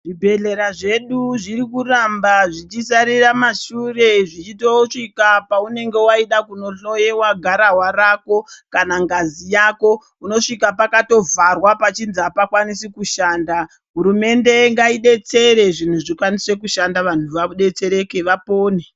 Zvibhedhlera zvedu zviri kuramba zvichisarira mashure zvichitosvika paunoenda kundohloiwa garahwa rako kana ngazi Yako unosvika pakatovharwa pachinzi apafani kushanda hurumende ngaidetsere zviro zvikwanise kushdna antu adetsereke apone.